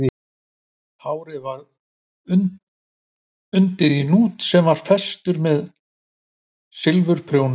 Hárið var undið í hnút sem var festur með silfurprjónum